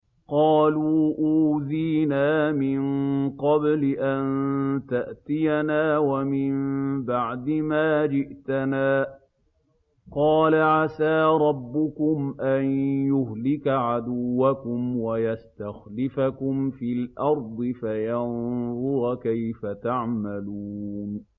قَالُوا أُوذِينَا مِن قَبْلِ أَن تَأْتِيَنَا وَمِن بَعْدِ مَا جِئْتَنَا ۚ قَالَ عَسَىٰ رَبُّكُمْ أَن يُهْلِكَ عَدُوَّكُمْ وَيَسْتَخْلِفَكُمْ فِي الْأَرْضِ فَيَنظُرَ كَيْفَ تَعْمَلُونَ